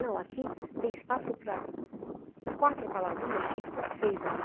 Não, aqui tem espaço para quatro palavrinhas, tinha que pôr seis ali.